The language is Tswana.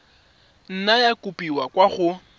nna ya kopiwa kwa go